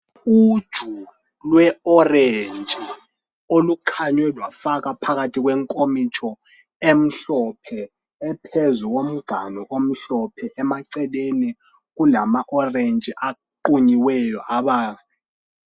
Uluju lwe orentshi olukhanywe lwafakwa phakathi kwenkomitsho emhlophe, ephezu komganu omhlophe. Emaceleni kulama orentshi aqunyiweyo.